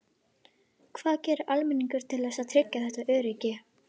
Hvað gerir almenningur til þess að tryggja þetta öryggi?